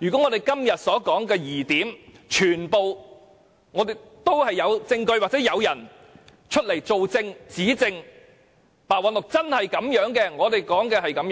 如果就我們今天提出的所有疑點，能找到證據支持或有人指證，證明白韞六的做法真的一如我們所說，那便不